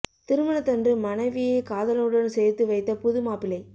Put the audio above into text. திருமணத்தன்று மனைவியை காதலனுடன் சேர்த்து வைத்த புது மாப்பிள்ளை